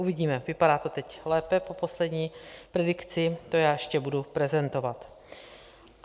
Uvidíme, vypadá to teď lépe po poslední predikci, to já ještě budu prezentovat.